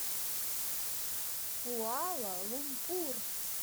куала лумпур